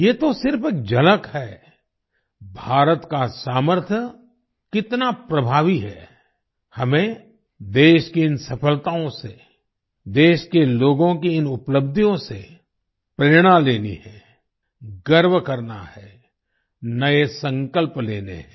ये तो सिर्फ झलक है भारत का सामर्थ्य कितना प्रभावी है हमें देश की इन सफलताओं से देश के लोगों की इन उपलब्धियों से प्रेरणा लेनी है गर्व करना है नए संकल्प लेने हैं